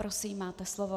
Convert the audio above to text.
Prosím, máte slovo.